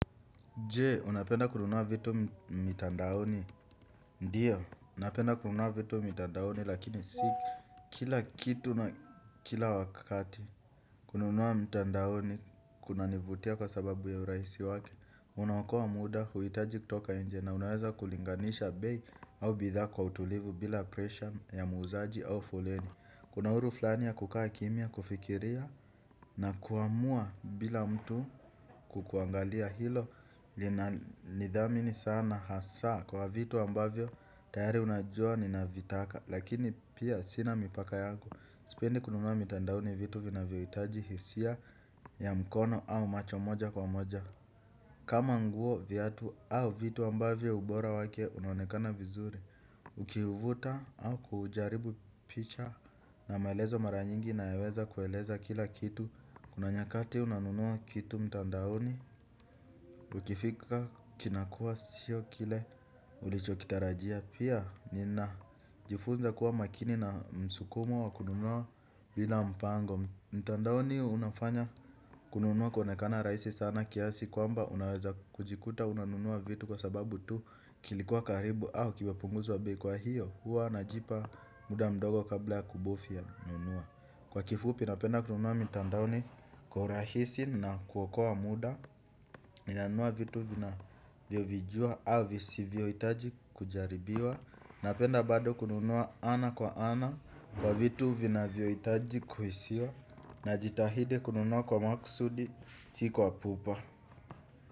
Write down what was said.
Je, unapenda kununua vitu mitandaoni, ndiyo, napenda kununua vitu mitandaoni lakini si kila kitu na kila wakati kununua mitandaoni kuna nivutia kwa sababu ya uraisi wake, unaokoa muda huitaji kutoka nje na unawaza kulinganisha bei au bidhaa kwa utulivu bila presha ya muuzaji au foleni. Kuna huru flani ya kukaa kimya kufikiria na kuamua bila mtu kukuangalia hilo linanidhamini sana hasa kwa vitu ambavyo tayari unajua ninavitaka lakini pia sina mipaka yangu. Sipendi kununua mitandaoni vitu vinavyo itaji hisia ya mkono au macho moja kwa moja. Kama nguo viatu au vitu ambavyo ubora wake unaonekana vizuri ukivuta au kujaribu picha na maelezo mara nyingi inayoweza kueleza kila kitu. Kuna nyakati unanunua kitu mtandaoni. Ukifika kinakua sio kile ulichokitarajia pia nina jifunza kuwa makini na msukumo wa kununua bila mpango. Kwa mtandaoni unafanya kununua kuonekana rahisi sana kiasi kwamba unaweza kujikuta unanunua vitu kwa sababu tu kilikuwa karibu au kimepunguzwa bei kwa hiyo huwa najipa muda mdogo kabla kubofia nunua. Kwa kifupi napenda kununua mtandaoni kwa urahisi na kuokoa muda ninanunua vitu vinavyovijua au visivyoitaji kujaribiwa. Napenda bado kununua ana kwa ana. Kwa vitu vinavyo itaji kuhisiwa najitahidi kununua kwa makusudi si kwa pupa.